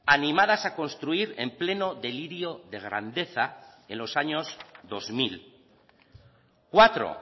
animadas a construir en pleno delirio de grandeza en los años dos mil cuatro